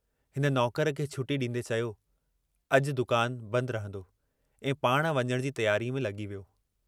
हिन नौकर खे छुटी डींदे चयो, अजु दुकान बंदि रहंदो ऐं पाण वञण जी तियारीअ में लगी वियो।